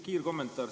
Kiirkommentaar.